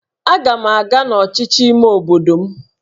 Aga m aga n'ọchịchị ime obodo m